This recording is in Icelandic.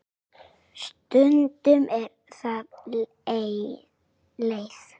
Stundum eru þau leið.